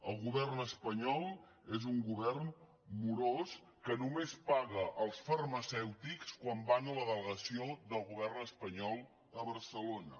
el govern espanyol és un govern morós que només paga els farmacèutics quan van a la delegació del govern espanyol a barcelona